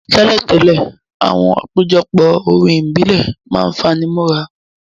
Tẹ́lẹ̀tẹ́lẹ̀, àwọn àpéjọpọ̀ orin ìbílẹ̀ ma n fani mọ́ra.